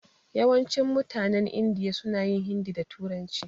Yawancin mutanen Indiya suna jin hindi da turanci.